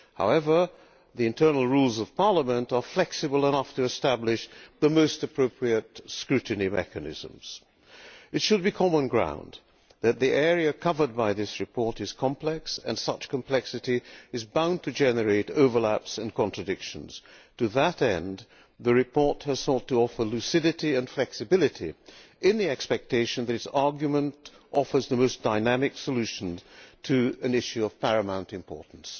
However, the internal rules of Parliament are flexible enough to establish the most appropriate scrutiny mechanisms. It should be common sense that the area covered by this report is complex and such complexity is bound to generate overlaps and contradictions. To that end, the report has sought to offer lucidity and flexibility in the expectation that its argument offers the most dynamic solution to an issue of paramount importance.